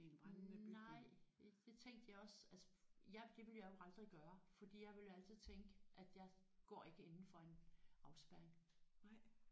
Nej det det tænkte jeg også altså jeg det ville jeg jo aldrig gøre fordi jeg ville jo altid tænke at jeg går ikke inden for en afspærring